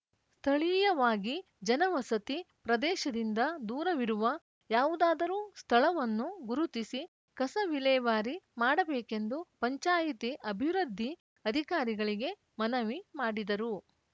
ಸ್ಥಳೀಯವಾಗಿ ಜನವಸತಿ ಪ್ರದೇಶದಿಂದ ದೂರವಿರುವ ಯಾವುದಾದರೂ ಸ್ಥಳವನ್ನು ಗುರುತಿಸಿ ಕಸ ವಿಲೇವಾರಿ ಮಾಡಬೇಕೆಂದು ಪಂಚಾಯ್ತಿ ಅಭಿವೃದ್ಧಿ ಅಧಿಕಾರಿಗಳಿಗೆ ಮನವಿ ಮಾಡಿದರು